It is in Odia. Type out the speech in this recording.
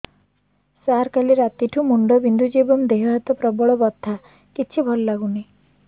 ସାର କାଲି ରାତିଠୁ ମୁଣ୍ଡ ବିନ୍ଧୁଛି ଏବଂ ଦେହ ହାତ ପ୍ରବଳ ବଥା କିଛି ଭଲ ଲାଗୁନି